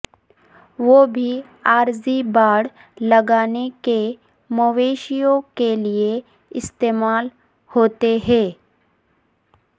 وہ بھی عارضی باڑ لگانے کے مویشیوں کے لئے استعمال ہوتے ہیں